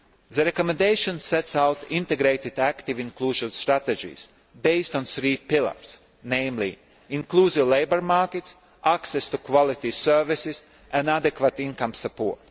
Council. The recommendation sets out integrated active inclusion strategies based on three pillars namely, inclusive labour markets, access to quality services and adequate income